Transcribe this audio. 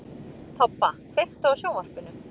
Tobba, kveiktu á sjónvarpinu.